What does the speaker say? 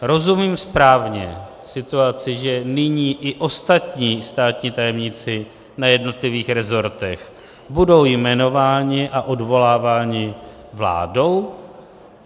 Rozumím správně situaci, že nyní i ostatní státní tajemníci na jednotlivých rezortech budou jmenováni a odvoláváni vládou?